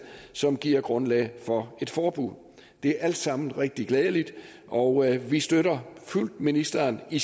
som giver grundlag for et forbud det er alt sammen rigtig glædeligt og vi støtter fuldt ministeren i